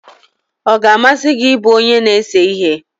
ọ ga-amasị gị ịbụ onye na-ese ihe?